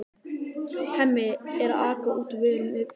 Hemmi er að aka út vörum fyrir heildsöluna.